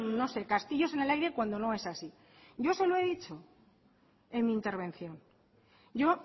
no se castillos en el aire cuando no es así yo eso lo he dicho en mi intervención yo